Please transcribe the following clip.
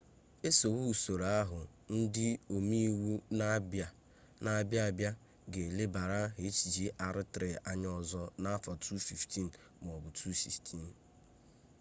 esowe usoro ahụ ndị ome iwu na-abịa abịa ga elebara hjr-3 anya ọzọ n'afọ 2015 m'ọbụ 2016